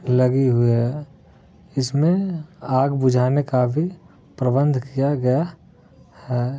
लगी हुयी है इसमें आग बुझाने का भी प्रबंध किया गया है।